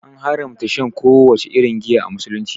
An haramta shan kowace irin giya a Musulunci.